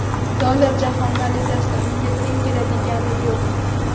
Dollar jahon valyutasidir, unga teng keladiga yo‘q.